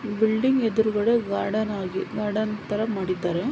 Building ಎದ್ರುಗಡೆ garden ಆಗಿ garden ತರ ಮಾಡಿದ್ದಾರೆ.